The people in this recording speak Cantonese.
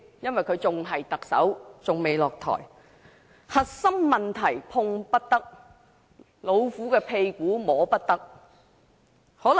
由於梁振英還未下台，仍然是特首，核心問題碰不得，"老虎的屁股摸不得"。